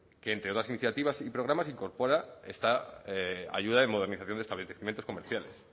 que entre todas las iniciativas y programas incorpora esta ayuda de modernización de establecimientos comerciales